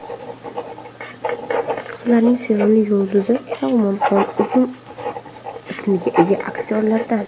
Qizlarning sevimli yulduzi Salmon Xon uzun ismga ega aktyorlardan.